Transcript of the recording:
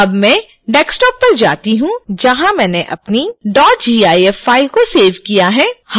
अब मैं desktop पर जाती हूँ जहां मैंने अपनी gif फ़ाइल को सेव किया है